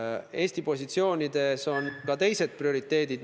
Ja Eesti positsioonides on meil ka teised prioriteedid.